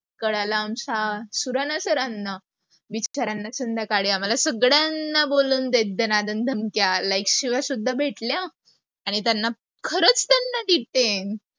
कळालं आमच्या सुऱ्हाना sir ना, बिचार्‍यांना संध्याकाळी आम्हाल सगळ्यांना बोलवून दे दणा दण धमक्या, like शिव्या सुद्धा भेटल्या. आणी त्यांना खरच त्यांना detaine